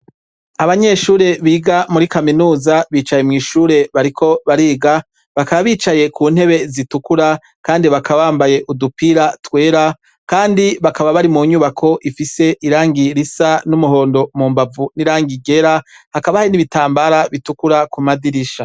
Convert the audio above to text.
Abanyeshure biga muri kaminuza bicaye mwishure bariko bariga ,bakaba bicaye kuntebe zitukura kandi bakaba bambaye udupira twera Kandi bakaba bari munyubako Ifise irangi risa numuhondo mumbavu nirangi ryera nibitambara bitukura Kumadirisha.